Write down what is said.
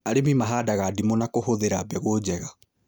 Arĩmi mahandaga ndimũ na kũhũthĩra mbegũ njega